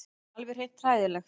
Alveg hreint hræðilegt.